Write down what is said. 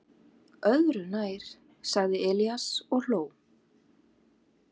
"""Öðru nær, sagði Elías og hló."""